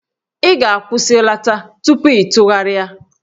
Ị ga-akwụsịlata tupu ịtụgharịa!